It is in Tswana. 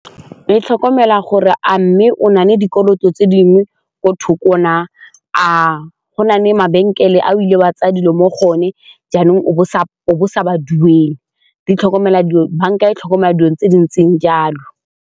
E tlhokomela gore a mme o na le dikoloto tse dingwe ko thoko na, a go na le mabenkele a o ile wa tsaya dilo mo go one jaanong o bo o sa ba duele, banka e tlhokomela dilo tse di ntseng jalo.